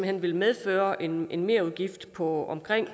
hen vil medføre en en merudgift på omkring